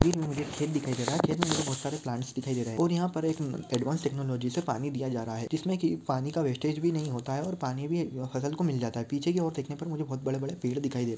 मुझे खेत दिखाई दे रहा है खेत मे मुझे बहुत सारे प्लाट्स दिखाई दे रहे है और यहा पर एक एडवांस टेक्नोलेगी से पानी दिया जा रहा है जिसमे की पानी का वेस्टेज भी नहीं होता है और पानी भी फसल को मिल जाता है पीछे की ओर देखने पर मुझे बहुत बड़े बड़े पेड़ दिखाई दे--